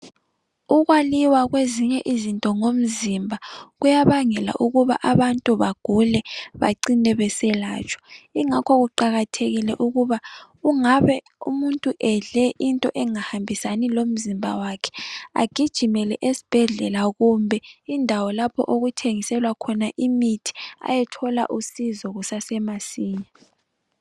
Ukwaliwa kwezinye izinto ngumzimba kuyabangela ukuba abantu bagule. Bacine beselatshwa. Ingakho kuqakathekile ukuba kungabe, umuntu edle into engahambisani lomzimba wakhe, agijimele esibhedlela, kumbe indawo, lapho okuthengiselwa khona imithi. Ayethola usizo kusasemasinya.